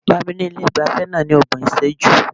Bá mi ní ilé ìgbafẹ́ náà ní ọgbọ̀n ìṣẹ́jú.